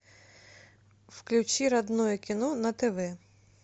включи родное кино на тв